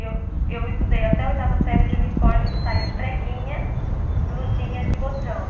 Eu eu estudei até a oitava série de uniforme de saia de preguinha, blusinha de botão.